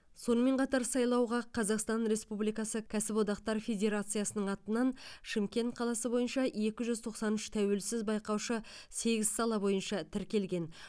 сонымен қатар сайлауға қазақстан республикасы кәсіподақтар федерациясының атынан шымкент қаласы бойынша екі тоқсан үш тәуелсіз байқаушы сегіз сала бойынша тіркелген